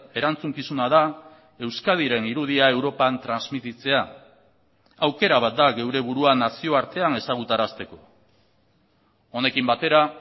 erantzukizuna da euskadiren irudia europan transmititzea aukera bat da geure buruan nazioartean ezagutarazteko honekin batera